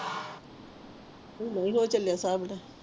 ਤੂੰ ਲੋਇ ਲੋਇ ਚਲੇ ਸਬ ਦਾ